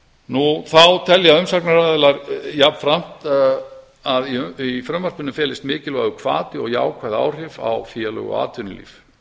árum þá telja umsagnaraðilar jafnframt að í frumvarpinu felist mikilvægur hvati og jákvæð áhrif á félög og atvinnulíf